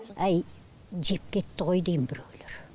әй жеп кетті ғой дейм біреулер